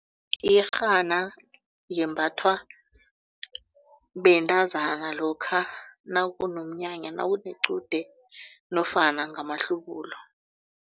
Iyerhana yembathwa bentazana lokha nakunomnyanya nawunequde nofana ngamahlubulo.